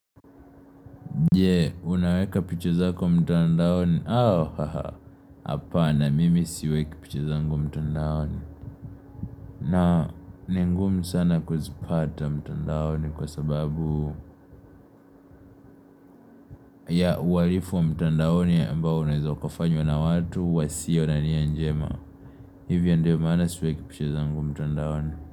Je, unaweka picha zako mtandaoni? Au, ha ha. Hapana, mimi siweki picha zangu mtandaoni. Na, ni ngumu sana kuzipata mtandaoni kwa sababu ya uhalifu mtandaoni ambao unaweza ukafanywa na watu wasio na nia njema. Hivyo ndio maana siweki picha zangu mtandaoni.